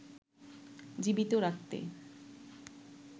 জীবিত রাখতে